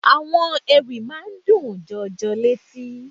Àwọn Ewì máa ń dùn jọjọ létí.